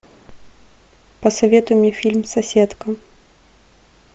посоветуй мне фильм соседка